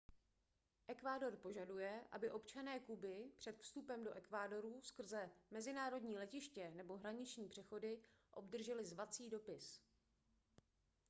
ekvádor požaduje aby občané kuby před vstupem do ekvádoru skrze mezinárodní letiště nebo hraniční přechody obdrželi zvací dopis